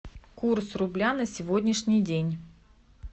курс рубля на сегодняшний день